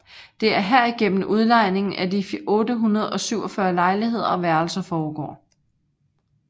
Det er herigennem udlejningen af de 847 lejligheder og værelser foregår